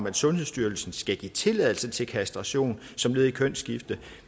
at sundhedsstyrelsen skal give tilladelse til kastration som led i kønsskifte